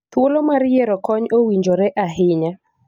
Thuolo mar yiero kony owinjore ahinya